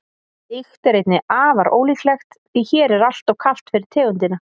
slíkt er einnig afar ólíklegt því hér er alltof kalt fyrir tegundina